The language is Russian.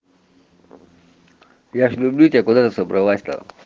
я же люблю тебя куда ты собралась там